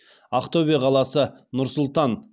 ақтөбе қаласы нұр сұлтан